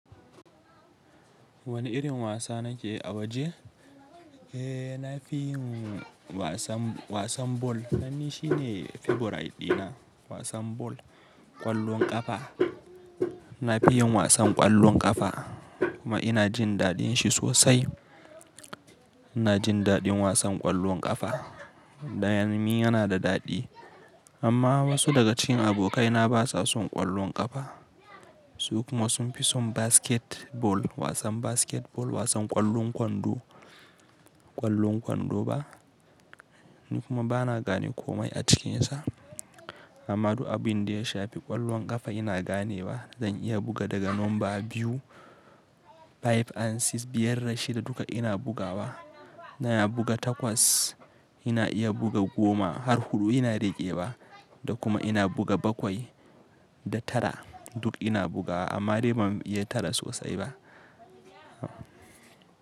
Wani irin wasa nake a waje? Eh, na fi yin wasan, wasan ball. Nan shi ne favorite dina wasan ball. Kwallon ƙafa. Na fi yin wasan ƙwallon ƙafa kuma ina jin daɗin shi sosai. Ina jin daɗin wasan ƙwallon ƙafa. Dan ni yana da daɗi. Amma wasu daga cikin abokaina ba sa son ƙwallon ƙafa. Su kuma sun fi son basketball, wasan basketball, wasan ƙwallon kwando, ƙwallon kwando ba. Ni kuma ba na gane komai a cikinsa. Amma duk abin da ya shafi ƙwallon ƙafa ina gane wa. Zan iya buga daga namba biyu, five and six, biyar da shida duka ina bugawa. Na iya buga takwas, ina iya buga goma har huɗu ina riƙe wa da kuma ina buga bakwai da tara duk ina bugawa amma dai ba mu iya tara sosai ba.